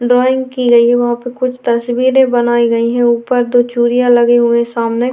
Drawing की गई है वहाँ पे कुछ तस्वीरें बनाई गई है ऊपर दो चूरियां लगे हुए सामने।